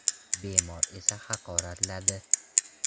Bemor esa meni haqoratladi.